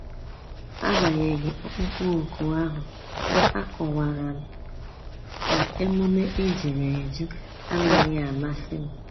Agbanyeghi ọkpụkpọ ọkụ ahu, a kọwara m na-emume ejuru eju anaghị amasị m